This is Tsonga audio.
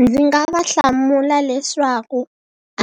Ndzi nga va hlamula leswaku